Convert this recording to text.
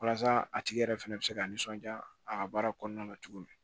Walasa a tigi yɛrɛ fɛnɛ bɛ se ka nisɔndiya a ka baara kɔnɔna na cogo min